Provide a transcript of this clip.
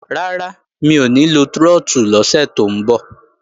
Rárá, mi ò ní lo trọ́tù lọ́sẹ̀ tó ń bọ̀